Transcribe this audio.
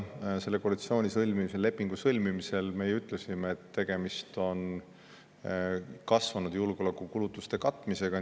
Selle koalitsioonilepingu sõlmimisel me ju ütlesime, et tegemist on kasvanud julgeolekukulutuste katmisega.